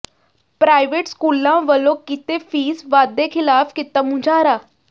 private ਸਕੂਲਾਂ ਵੱਲੋਂ ਕੀਤੇ ਫੀਸ ਵਾਧੇ ਖਿਲਾਫ਼ ਕੀਤਾ ਮੁਜ਼ਾਹਰਾ